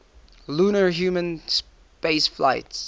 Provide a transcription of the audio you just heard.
lunar human spaceflights